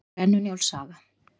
Brennu-Njáls saga.